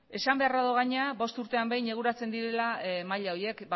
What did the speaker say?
esan beharra dago gainera bost urtean behin eguneratzen direla maila horiek